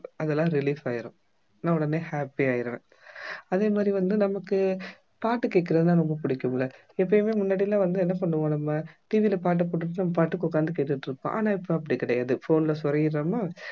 அதெல்லாம் relief ஆயிரும் நான் உடனே happy ஆயிருவேன் அதே மாதிரி வந்து நமக்கு பாட்டு கேக்குறதுனா ரொம்ப பிடிக்கும் இல்ல எப்பயுமே முன்னடி எல்லாம் வந்து என்ன பண்ணுவோம் நம்ம TV ல பாட்டு போட்டுட்டு நம்மபாட்டுக்கு உட்கார்ந்து கேட்டுட்டிருப்போம் ஆனா இப்ப அப்படி கிடையாது phone ல சொருகிடுறோமா